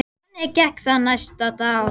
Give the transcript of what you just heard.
Þannig gekk það næsta og næsta dag.